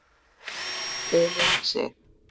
Elín Sig.